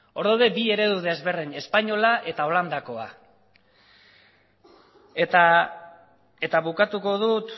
hor daude bi eredu desberdin espainola eta holandakoa eta bukatuko dut